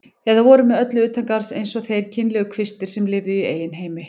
Eða voru með öllu utangarðs eins og þeir kynlegu kvistir sem lifðu í eigin heimi.